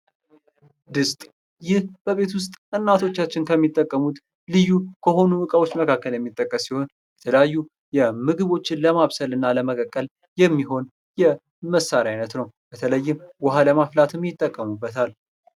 ድስት ይህ በቤት ውስጥ እናቶቻችን ከሚጠቀሙት ልዩ ከሆኑ እቃዎች መካከል የሚጠቀስ ሲሆን የተለያዩ ምግቦችን ለማብል እና ለመቀቀል የሚሆን የመሳሪያ አይነት ነው። በተለይም ውሃ ለማፍራት ይጠቀሙበታል።